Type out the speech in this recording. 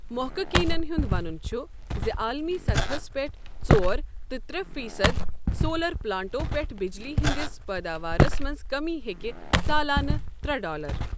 محققینَن ہُنٛد ونن چھ زِ عالمی سطحَس پٮ۪ٹھ، ژور تہِ ترٛے فیصد سولر پلانٹَو پٮ۪ٹھٕ بجلی ہٕنٛدِس پیداوارَس منٛز کمی ہیٚکہِ سالانہٕ ترٛے ڈالر